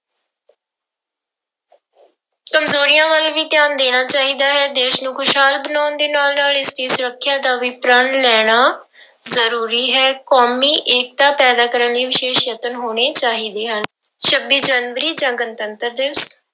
ਕੰਮਜ਼ੋਰੀਆਂ ਵੱਲ ਵੀ ਧਿਆਨ ਦੇਣਾ ਚਾਹੀਦਾ ਹੈ, ਦੇਸ ਨੂੰ ਖ਼ੁਸ਼ਹਾਲ ਬਣਾਉਣ ਦੇ ਨਾਲ ਨਾਲ ਇਸਦੀ ਸੁਰੱਖਿਆ ਦਾ ਵੀ ਪ੍ਰਣ ਲੈਣਾ ਜ਼ਰੂਰੀ ਹੈ, ਕੌਮੀ ਏਕਤਾ ਪੈਦਾ ਕਰਨ ਲਈ ਵਿਸ਼ੇਸ਼ ਯਤਨ ਹੋਣੇ ਚਾਹੀਦੇ ਹਨ, ਛੱਬੀ ਜਨਵਰੀ ਜਾਂ ਗਣਤੰਤਰ ਦਿਵਸ,